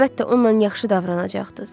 Əlbəttə, onunla yaxşı davranacaqdız.